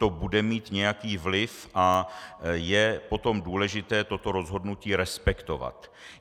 To bude mít nějaký vliv a je potom důležité toto rozhodnutí respektovat.